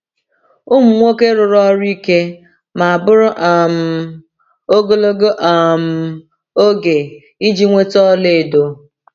Ụmụ nwoke rụrụ ọrụ ike ma bụrụ um ogologo um oge iji nweta ọlaedo.